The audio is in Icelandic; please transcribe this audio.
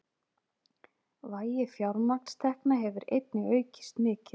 Vægi fjármagnstekna hefur einnig aukist mikið